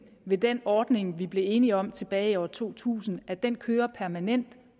ved den ordning vi blev enige om tilbage i år to tusind at den kører permanent